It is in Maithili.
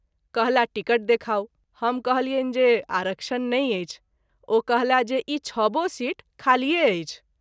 कहलाह टिकट देखाऊ हम कहलियनि जे आरक्षण नहिं अछि ओ कहला जे ई छबो सीट खालिये अछि।